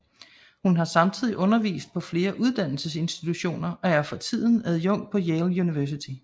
Hun har samtidig undervist på flere uddannelsesinstitutioner og er for tiden adjunkt på Yale University